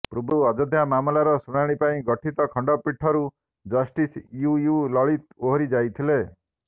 ପୂର୍ବରୁ ଅଯୋଧ୍ୟା ମାମଲାର ଶୁଣାଣି ପାଇଁ ଗଠିତ ଖଣ୍ଡପୀଠରୁ ଜଷ୍ଟିସ ୟୁୟୁ ଲଳିତ ଓହରି ଯାଇଥିଲେ